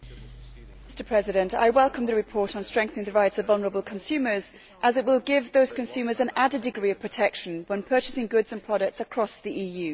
Mr President, I welcome the report on strengthening the rights of vulnerable consumers as it will give those consumers an added degree of protection when purchasing goods and products across the EU.